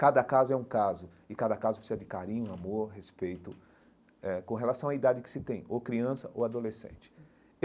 Cada caso é um caso, e cada caso precisa de carinho, amor, respeito, eh com relação à idade que se tem, ou criança ou adolescente.